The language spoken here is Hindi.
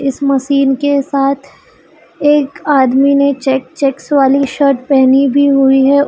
इस मसिन के साथ एक आदमी ने चेक चेकस वाली शर्ट पहनी भी हुई है।